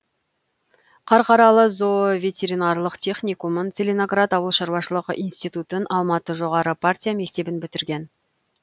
қарқаралы зооветеринарлык техникумын целиноград ауыл шаруашылығы институтын алматы жоғары партия мектебін бітірген